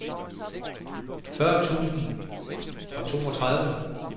fyrre tusind og toogtredive